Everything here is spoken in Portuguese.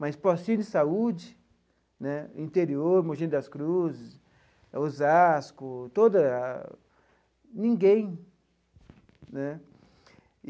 Mas postinho de saúde né, interior, Mogi das Cruzes, Osasco toda a, ninguém né.